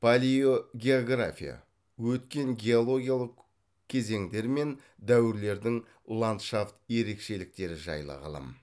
палеогеография өткен геологиялық кезеңдер мен дәуірлердің ландшафт ерекшеліктері жайлы ғылым